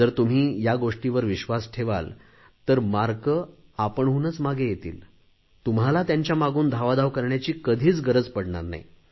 जर तुम्ही या गोष्टींवर विश्वास ठेवाल तर गुण आपणहूनच मागे येतील तुम्हाला त्यांच्या मागून धावाधाव करण्याची कधीच गरज पडणार नाही